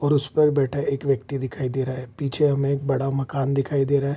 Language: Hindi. और उस पर बैठा एक व्यक्ति दिखाई दे रहा है पीछे हमे एक बड़ा मकान दिखाई दे रहा है।